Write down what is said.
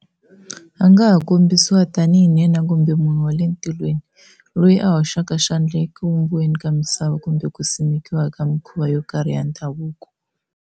A nga ha kombisiwa tanihi nhenha kumbe munhu wa le tilweni loyi a hoxaka xandla eku vumbiweni ka misava kumbe ku simekiwa ka mikhuva yo karhi ya ndhavuko.